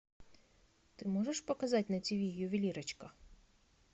ты можешь показать на тиви ювелирочка